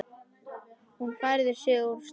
Hún færir sig úr stað.